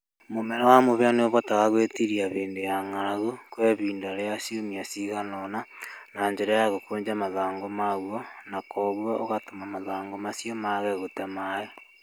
Mũmera wa mũhĩa nĩ ũhotaga gwĩtiiria hĩndĩ ya ng'aragu kwa ihinda rĩa ciumia cigana ũna na njĩra ya gũkũnja mathangũ maguo na kwoguo ũgatũma mathangũ macio mage gũte maĩĩ